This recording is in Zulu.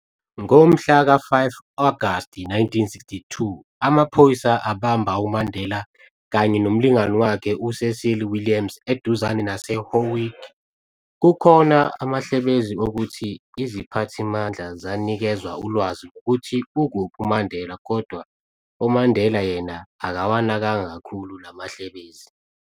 Ngomhla ka-5 Agaust 1962, amaphoyisa abamba uMandela kanye nomlingani wakhe u-Cecil Williams eduzane nase-Howick. Kukhona amahlebezi okuthi iziphathimandla zanikezwa ulwazi ngokuthi ukuphi uMandela, kodwa uMandela yena akawanakanga kakhulu la mahlebezi.